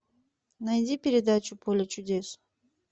найди передачу поле чудес